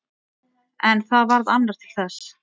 En það varð annar til þess.